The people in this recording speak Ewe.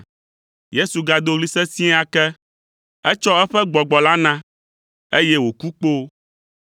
Yesu gado ɣli sesĩe ake. Etsɔ eƒe gbɔgbɔ la na, eye wòku kpoo.